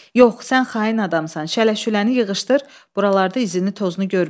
Yox, sən xain adamsan, şələşüləni yığışdır, buralarda izini tozunu görməyim.